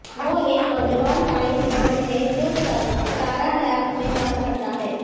وہ ایک نوجوان سائنس دان ہے جو ستارہ لیبز میں کام کرتا ہے